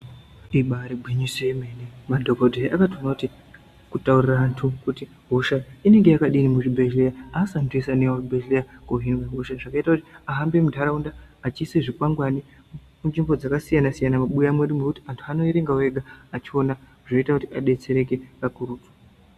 Ibari gwinyiso yemene madhokodheya akatoona kuti kutaurira anthu kuti hosha inenge yakadini muzvibhedhleya asi anthu eshe anouya kuzvibhedheya kuzvinokosha zvakaita kuti ahambe muntaraunda eisa zvikwangwani munzvimbo dzakasiyana siyana mumabuya edu ngekuti anhtu anoerengawo ega echiona zvinoita kuti adetsereke pakuru.